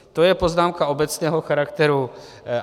To je poznámka obecného charakteru.